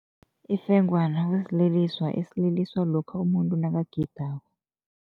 Ifengwana kusililiso esiliswa lokha umuntu nakagidako.